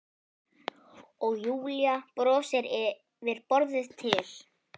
Og Júlía brosir yfir borðið til